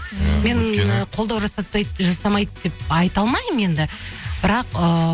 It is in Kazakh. ы мен ы қолдау жасамайды деп айта алмаймын енді бірақ ыыы